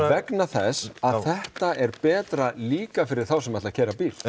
vegna þess að þetta er betra líka fyrir þá sem ætla að keyra bíl